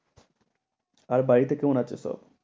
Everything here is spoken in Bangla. আর বাড়িতে কেমন আছে সব?